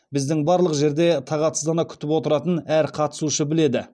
біздің барлық жерде тағатсыздана күтіп отыратынын әр қатысушы біледі